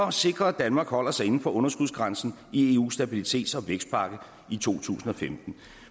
at sikre at danmark holder sig inden for underskudsgrænsen i eus stabilitets og vækstpakke i to tusind og femten